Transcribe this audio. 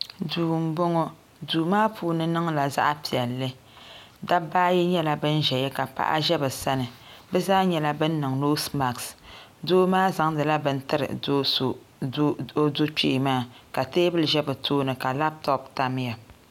duu m-bɔŋɔ duu maa puuni niŋla zaɣ' piɛlli dabba ayi nyɛla ban ʒeya ka paɣa ʒe bɛ sani bɛ zaa nyɛla bɛ niŋ noosi masks doo maa zaŋdi la bini tiri o do' kpee maa ka teebuli za bɛ tooni ka labitopu tam ya.